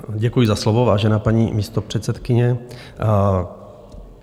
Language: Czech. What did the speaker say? Děkuji za slovo, vážená paní místopředsedkyně.